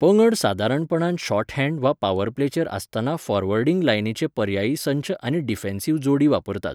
पंगड सादारणपणान शॉर्टहॅंड वा पावर प्लेचेर आसतना फॉरवर्डिंग लायनीचे पर्यायी संच आनी डिफेन्सिव्ह जोडी वापरतात.